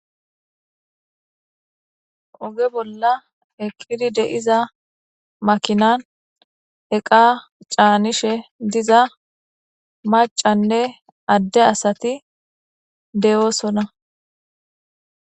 Oge bolla eqqidi de7iza makinan eqa caanishe diza macanne adde asati deyoosona.